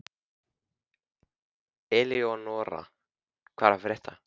Eleonora, hvað er að frétta?